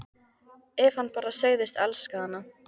Ef hann bara segðist elska hana: